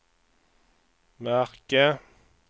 märke